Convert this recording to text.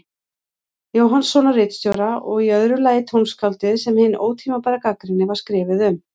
Jóhannssonar ritstjóra, og í öðru lagi tónskáldið sem hin ótímabæra gagnrýni var skrifuð um.